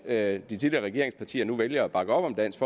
at de tidligere regeringspartier nu vælger at bakke op om dansk